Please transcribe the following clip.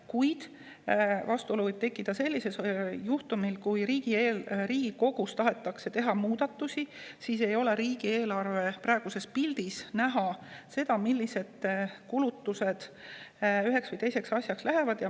Kuid vastuolu võib tekkida sellisel juhtumil, kui Riigikogus tahetakse teha muudatusi: siis ei ole riigieelarve praeguses pildis näha, millised kulutused üheks või teiseks asjaks lähevad.